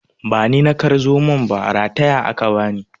Ba ni na kar zomon ba, rataya aka bani.